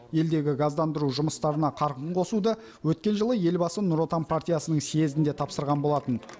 елдегі газдандыру жұмыстарына қарқын қосуды өткен жылы елбасы нұр отан партиясының съезінде тапсырған болатын